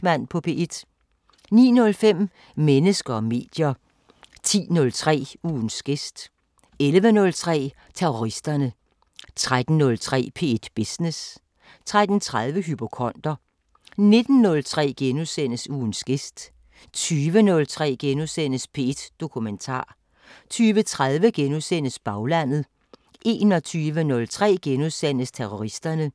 05:30: Brinkmann på P1 * 09:05: Mennesker og medier 10:03: Ugens gæst 11:03: Terroristerne 13:03: P1 Business 13:30: Hypokonder 19:03: Ugens gæst * 20:03: P1 Dokumentar * 20:30: Baglandet * 21:03: Terroristerne *